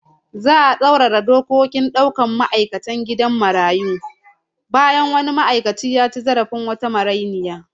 Za'a tsaurara dokokin daukar ma'aikatan gidan marayu bayan wani ma'aikaci ya ci zarafin wata marainiya